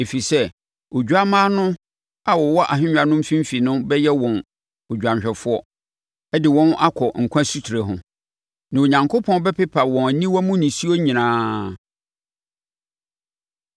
Ɛfiri sɛ, Odwammaa no a ɔwɔ ahennwa no mfimfini no bɛyɛ wɔn dwanhwɛfoɔ de wɔn akɔ nkwa asutire ho. Na Onyankopɔn bɛpepa wɔn aniwa mu nisuo nyinaa.”